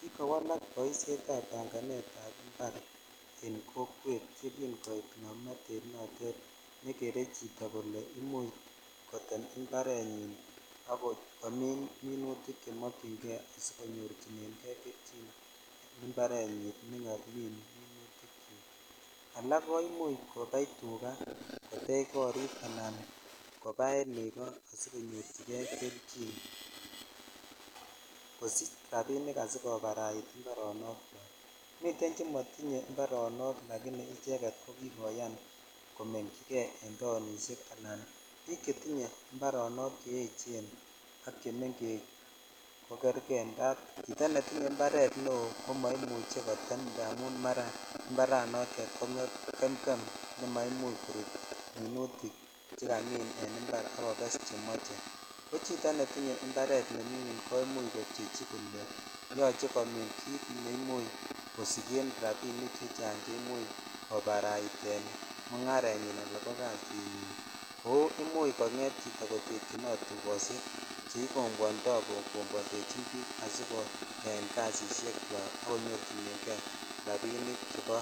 Kikowalak boishet sb panganet ab imbar en kokwet ye kin koit komnotet notet nr gere chito imuch kotem imbarenyin ak komin minutik che mokyinkei siokonyorichinen kei kelchin en imbarenyi alak ko imuch kobai tukaa ,kotech korik ala kobaen negoo sikonyorchi kei kelchin kosich rabik asikoparait imbaronok chwak miten chemotinye imbaronok likini icheget komekyi kei en taonishek bik chetinye imbaronok cheechen ak chemengech ko kerkei indap chito netinye imbaret neo ko moimuchi kotem imbaranotet indamu gemgem ko mai. uch korut minutik chekamin en imbar ak koges chemoche chito netinye imbaret nemingin komuch kobchechi kole yoche komin kit ne imuch kosiken rabinik chechang che imuch kobaraiten mugarenyin ala ko kasinyin ala komuch chito kotekyinot dukoshek asikokombwondoi ko kombwondechin bik asikoyan kasishek chwak ak konyorchinen kei meletoo baita nebo